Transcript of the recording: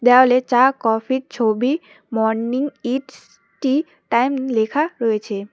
দেওয়ালে চা কফির ছবি মর্নিং ইটস টি টাইম লেখা রয়েছে।